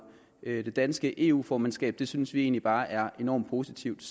det danske eu formandskab synes vi egentlig bare er enormt positivt